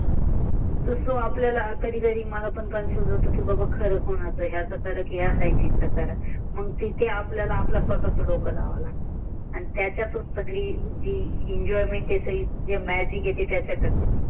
तर आपल्याला कधी कधी काफुजन होत कि बाबा कि या स्सेन्तिसचा खर